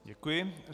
Děkuji.